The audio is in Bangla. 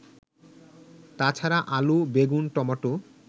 তাছাড়া আলু, বেগুন, টমেটো